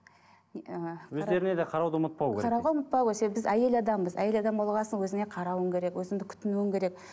ыыы өздеріне де қарауды ұмытпау керек қарауға ұмытпау керек себебі біз әйел адамбыз әйел адам болған соң өзіңе қарауың керек өзіңді күтінуің керек